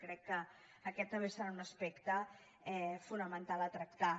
crec que aquest també serà un aspecte fonamental a tractar